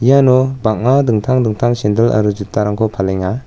iano bang·a dingtang dingtang sendil aro jutarangko palenga.